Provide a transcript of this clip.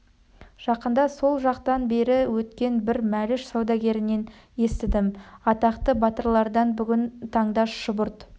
жақында сол жақтан бері өткен бір мәліш сәудегерінен естідім атақты батырлардан бүгін таңда шұбырт-